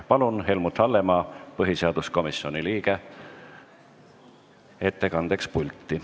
Palun Helmut Hallemaa, põhiseaduskomisjoni liikme ettekandeks pulti.